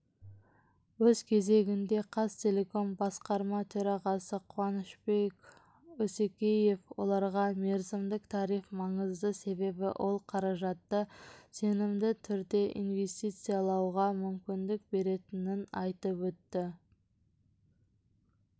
өз кезегінде қазақтелеком басқарма төрағасы қуанышбек есекеев оларға мерзімдік тариф маңызды себебі ол қаражатты сенімді түрде инвестициялауға мүмкіндік беретінін айтып өтті